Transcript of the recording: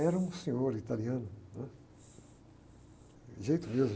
Era um senhor italiano. Né? De jeito mesmo...